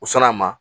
U sɔnn'a ma